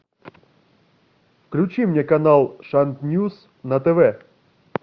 включи мне канал шант ньюс на тв